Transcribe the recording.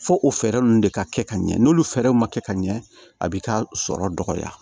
Fo o fɛɛrɛ ninnu de ka kɛ ka ɲɛ n'olu fɛɛrɛw ma kɛ ka ɲɛ a b'i ka sɔrɔ dɔgɔya